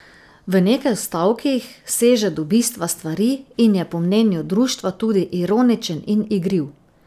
V nekaj stavkih seže do bistva stvari in je po mnenju društva tudi ironičen in igriv.